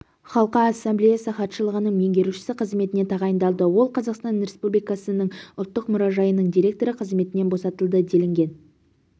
халқы ассамблеясы хатшылығының меңгерушісі қызметіне тағайындалды ол қазақстан республикасының ұлттық мұражайының директоры қызметінен босатылды делінген